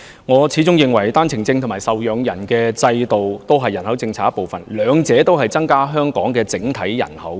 我始終認為單程證和受養人制度同屬人口政策的一部分，兩者均會令香港整體人口增加。